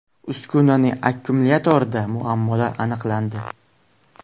Uskunaning akkumulyatorida muammolar aniqlandi.